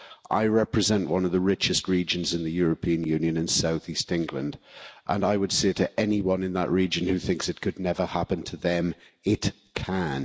I represent one of the richest regions in the European Union South East England and I would say to anyone in that region who thinks it could never happen to them it can.